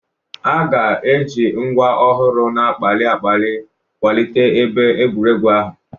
A ga-eji ngwa ọhụrụ na-akpali akpali kwalite ebe egwuregwu ahụ.